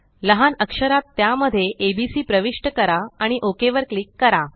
लहान अक्षरात त्यामध्ये एबीसी प्रविष्ट करा आणि ओक वर क्लिक करा